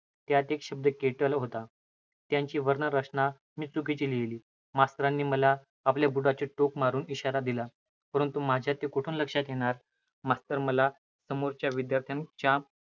त्यांत एक शब्द kettle होता. त्याची वर्णरचना मी चुकीची लिहिली. मास्तरांनी मला आपल्या बुटाचे टोक मारून इशारा दिला. परंतु माझ्या ते कोठुन लक्षात येणार? मास्तर मला समोरच्या विद्यार्थ्याच्या